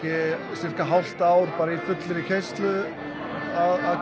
sirka hálft ár í fullu keyrslu að